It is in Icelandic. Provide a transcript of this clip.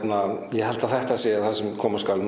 ég held að þetta sé það sem koma skal